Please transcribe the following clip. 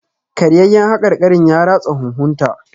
Karyayyaen haƙarƙarin ya ratsa huhun ta.